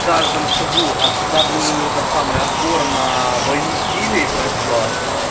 каждом шагу а когда был её этот самый отбор на войну в стиле фрешт блат